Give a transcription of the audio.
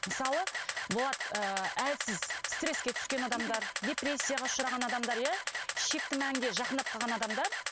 мысалы болады ы әлсіз стресске түскен адамдар депрессияға ұшыраған адамдар иә шекті мәнге жақындап қалған адамдар